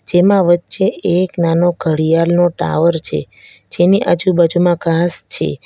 તેમાં વચ્ચે એક નાનો ઘડિયાળનો ટાવર છે જેની આજુબાજુમાં ઘાસ છે.